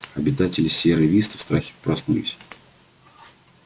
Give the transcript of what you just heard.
обитатели сиерра висты в страхе проснулись